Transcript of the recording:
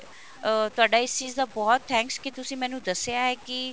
ਅਹ ਤੁਹਾਡਾ ਇਸ ਚੀਜ਼ ਦਾ ਬਹੁਤ thanks ਕਿ ਤੁਸੀ ਮੈਨੂੰ ਦੱਸਿਆ ਹੈ ਕਿ